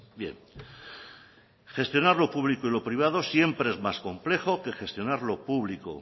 bien gestionar lo público y lo privado siempre es más complejo que gestionar lo público